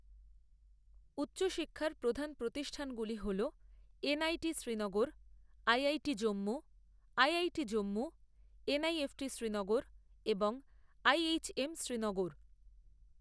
উচ্চ শিক্ষার প্রধান প্রতিষ্ঠানগুলি হল NIT Srinagar, IIT Jammu, IIT Jammu, NIFT Srinagar এবং আইএইচএম শ্রীনগর।